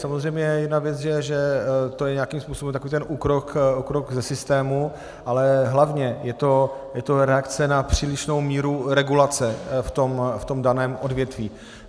Samozřejmě jedna věc je, že to je nějakým způsobem takový ten úkrok ze systému, ale hlavně je to reakce na přílišnou míru regulace v tom daném odvětví.